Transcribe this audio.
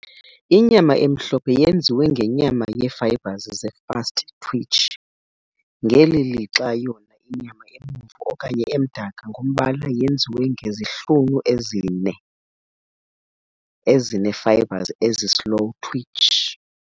Inyama emhlophe yenziwe ngenyama yeefibres ze-fast-twitch, ngeli lixa yona inyama ebomvu okanye emdaka ngombala yenziwe ngezihlunu ezinee-fibres ezi-slow-twitch.